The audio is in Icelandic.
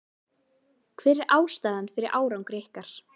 Hver er ástæðan fyrir árangri ykkar?